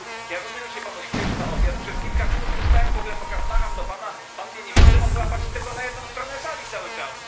Ja rozumiem, że się Panu śpieszy na obiad. Przez kilka minut tu stałem, macham do Pana, Pan mnie nie widzi, to Pan chyba patrzy tylko na jedną stronę sali cały czas.